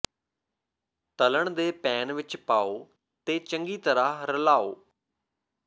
ਤਲ਼ਣ ਦੇ ਪੈਨ ਵਿਚ ਪਾਓ ਅਤੇ ਚੰਗੀ ਤਰ੍ਹਾਂ ਰਲਾਓ